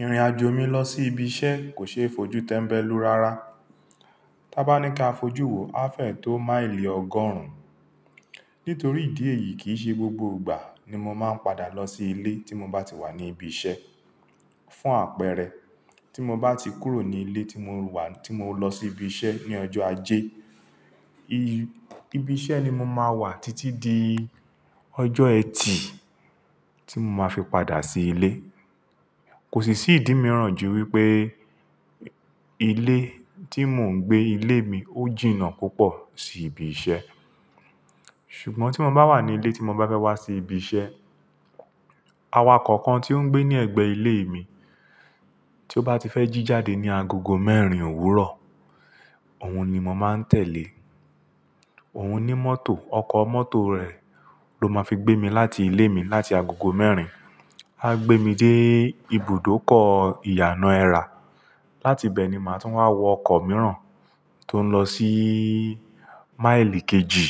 Ìrìnàjò mi lọ sí ibi iṣẹ́ kò ṣe é fojú tẹ́mbẹ́lú rara. Tá bá ní ká fojú wo afẹ̀ tó máìlì ọgọ́rùn-ún. Nítorí ìdí èyí kì í ṣe gbogbo ìgbà ni mo máa ń padà lọ sí ilé tí mo bá ti wà ní ibi iṣẹ́. Fún àpẹẹrẹ, tí mo bá ti kúrò ní ilé tí mo wà tí mo lọ sí ibi iṣẹ́ ní ọjọ́ ajé, ibi iṣẹ́ ni mo máa wà títí di ọjọ́ ẹtì tí mo máa fi padà sí ilé. Kò sì ṣì dí mi ràn ju wípé ilé tí mò ń gbé, ilé mi ó jìnnà púpọ̀ sí ibi iṣẹ́. Ṣùgbọ́n tí mo bá wà ní ilé tí mo bá fẹ́ wá sí ibi iṣẹ́, awakọ̀ kan tí ó ń gbé ní ẹ̀gbẹ́ ilé mi tí ó bá ti fẹ́ jí jáde ní agogo mẹ́rin òwúrọ̀, òun ni mo máa ń tẹ̀lé. Òun ní mọ́tò, ọkọ mọ́tò rẹ̀ ló máa fi gbé mi láti ilé mi láti agogo mẹ́rin. A gbé mi dé ibùdókọ̀ ìyànà ẹrà. Láti bẹ̀ ni màá tún wá wọ ọkọ̀ mìíràn tó ń lọ sí máìlì kejì.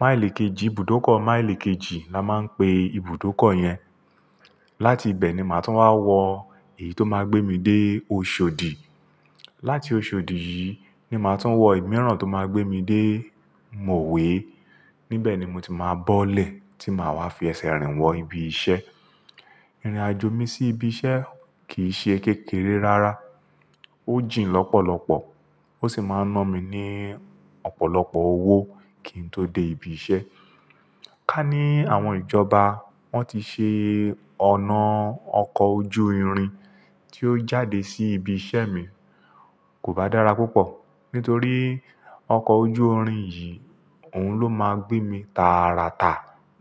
Máìlì kejì, Ibùdókọ̀ Máìlì kejì la máa ń pè ibùdókọ̀ yẹn. Láti bẹ̀ ni màá tún wá wọ èyí tó máa gbé mi dé Oṣòdì. Láti Oṣòdì yìí ni màá tún wọ ẹ̀ mìíràn tó máa gbé mi dé Mòwé. Níbẹ̀ ni mo ti máa bọ́lẹ̀ tí màá wá fi ẹsẹ̀ rìn wọ ibi iṣẹ́. Ìrìnàjò mi sí ibi iṣẹ́ kì í ṣe kékeré rara. Ó jìnnà lọ́pọ̀lọ́pọ̀ ó sì máa ń ná mi ní ọ̀pọ̀lọpọ̀ owó kí n tó dé ibi iṣẹ́. Ká ní àwọn ìjọba wọ́n ti ṣe ọ̀nà ọkọ̀ ojú irin tí ó jáde sí ibi iṣẹ́ mi, kò bá dára púpọ̀. Nítorí ọkọ̀ ojú irin yìí, òun ló máa gbé mi tàràtà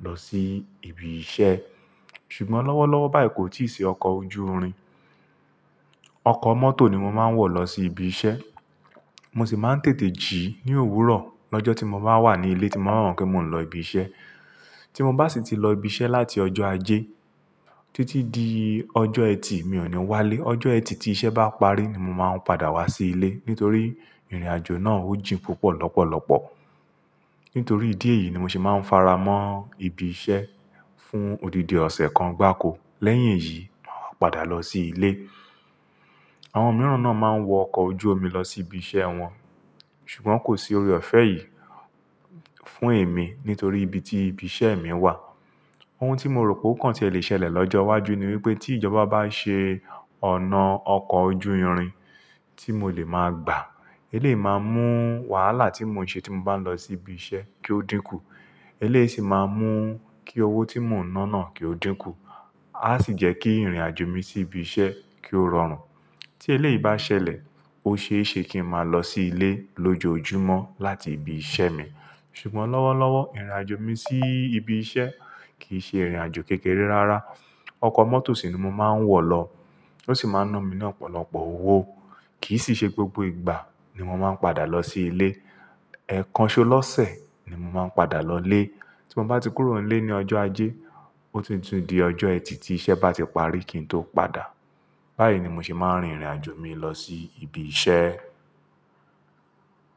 lọ sí ibi iṣẹ́. Ṣùgbọ́n lọ́wọ́lọ́wọ́ báyìí kò tí ì ṣe ọkọ̀ ojú irin. Ọkọ mọ́tò ni mo máa ń wọ̀ lọ sí ibi iṣẹ́. Mo sì máa ń tètè jí ní òwúrọ̀ lọ́jọ́ tí mo bá wà ní ilé tí mo bá mo pe mo n lọ ibi iṣẹ́. Tí mo bá sì ti lọ ibi iṣẹ́ láti ọjọ́ ajé títí di ọjọ́ ẹtì, mi ò ní wálé. Ọjọ́ ẹtì tí iṣẹ́ bá parí ni mo máa ń padà wá sí ilé. Nítorí ìrìnàjò náà ó jìnnà púpọ̀ lọ́pọ̀lọ́pọ̀. Nítorí ìdí èyí ni mo sì máa ń faramọ́ ibi iṣẹ́ fún òdìdì ọ̀sẹ̀ kan gbáko. Lẹ́yìn èyí, màá padà lọ sí ilé. Àwọn mìíràn náà máa ń wọ ọkọ̀ ojú omi lọ sí ibi iṣẹ́ wọn, ṣùgbọ́n kò sí ore ọ̀fẹ́ yìí fún èmi nítorí ibi tí ibi iṣẹ́ mi wà. Ohun tí mo rò pé ó kàn tí ó lè ṣẹlẹ̀ lọ́jọ́ iwájú ni wípé tí ìjọba bá ṣe ọ̀nà ọkọ̀ ojú irin tí mo lè máa gbà, eleyi máa mú wàhálà tí mò ń ṣe tí mo bá ń lọ sí ibi iṣẹ́ kí ó dínkù. Ó lè sì máa mú kí owó tí mò ń ná náà kí ó dínkù. A sì jẹ́ kí ìrìnàjò mi sí ibi iṣẹ́ kí ó rọrùn. Tí eléyìí bá ṣẹlẹ̀, ó ṣe é ṣe kí n máa lọ sí ilé lójoojúmọ́ láti ibi iṣẹ́ mi. Ṣùgbọ́n lọ́wọ́lọ́wọ́ ìrìnàjò mi sí ibi iṣẹ́ kì í ṣe ìrìnàjò kékeré rara. Ọkọ mọ́tò sì ni mo máa ń wọ̀ lọ ó sì máa ń ná mi ní ọ̀pọ̀lọpọ̀ owó. Kì í sì ṣe gbogbo ìgbà ni mo máa ń padà lọ sí ilé. Ẹ̀kan ṣo lọ́sẹ̀ ni mo máa ń padà lọlé. Tí mo bá ti kúrò nílé ní ọjọ́ ajé, ó tuntun di ọjọ́ ẹtì tí iṣẹ́ bá ti parí kí n tó padà. Báyìí ni mo se máa ń rin ìrìnàjò mi lọ sí ibi iṣẹ́.